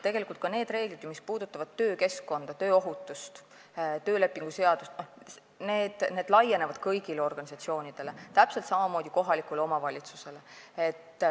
Tegelikult laienevad need reeglid, mis puudutavad töökeskkonda, tööohutust ja töölepingu seadust, kõigile organisatsioonidele ja täpselt samamoodi kohalikule omavalitsusele.